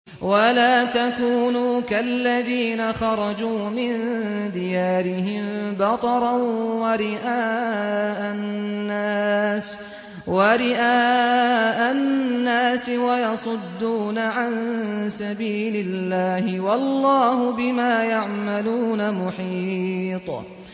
وَلَا تَكُونُوا كَالَّذِينَ خَرَجُوا مِن دِيَارِهِم بَطَرًا وَرِئَاءَ النَّاسِ وَيَصُدُّونَ عَن سَبِيلِ اللَّهِ ۚ وَاللَّهُ بِمَا يَعْمَلُونَ مُحِيطٌ